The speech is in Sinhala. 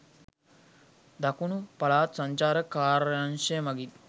දකුණු පළාත් සංචාරක කාර්යාංශය මගින්